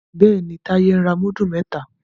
Béèni Taye ń ra mudu mẹta.